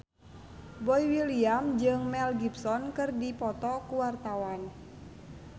Boy William jeung Mel Gibson keur dipoto ku wartawan